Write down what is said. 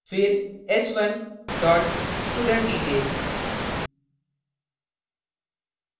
फिर s1 dot studentdetail